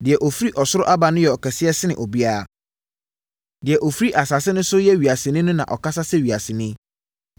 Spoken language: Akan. “Deɛ ɔfiri ɔsoro aba no yɛ ɔkɛseɛ sene obiara; Deɛ ɔfiri asase so no yɛ wiaseni na ɔkasa sɛ wiaseni.